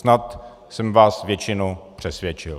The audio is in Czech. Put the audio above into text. Snad jsem vás většinu přesvědčil.